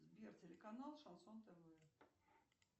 сбер телеканал шансон тв